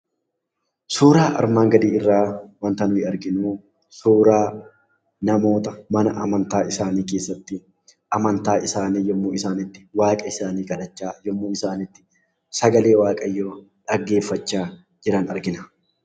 Suuraan armaan gadii irraa wanti nuti arginu suuraa namoota mana amantaa isaanii keessatti amantaa isaanii yemmuu isaan itti waaqessanii kadhachaa yemmuu isaan itti sagalee waaqayyoo dhaggeeffachaa jiran argina.